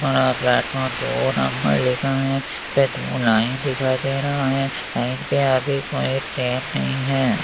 और प्लेटफॉर्म दो नंबर लिखा हैं पे टू लाइन दिखाई दे रहा हैं लाइन पे अभी कोई ट्रेन नहीं हैं।